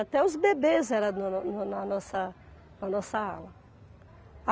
Até os bebês eram da na na na na na nossa na nossa ala.